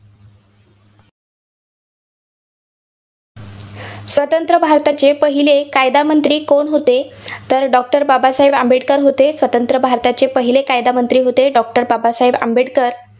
स्वतंत्र भारताचे पहिले कायदामंत्री कोण होते तर doctor बाबासाहेब आंबेडकर होते, स्वतंत्र भारताचे पहिले कायदामंत्री होते doctor बाबासाहेब आंबेडकर.